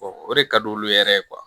o de ka di olu yɛrɛ ye